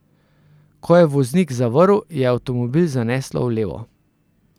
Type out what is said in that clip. Ko je voznik zavrl, je avtomobil zaneslo v levo.